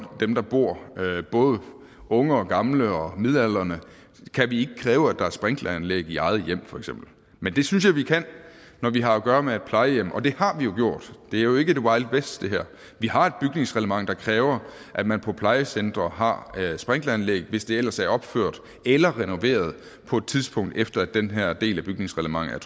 både unge og gamle og midaldrende kræve at der er sprinkleranlæg i eget hjem men det synes jeg vi kan når vi har at gøre med et plejehjem og det har vi jo gjort det her er jo ikke wild west vi har et bygningsreglement der kræver at man på plejecentre har sprinkleranlæg hvis det ellers er opført eller renoveret på et tidspunkt efter at den her del af bygningsreglementet